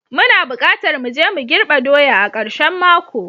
Muna bukatar mu je mu girbe doya a karshen mako.